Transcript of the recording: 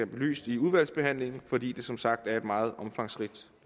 belyst i udvalgsbehandlingen fordi det som sagt er et meget omfangsrigt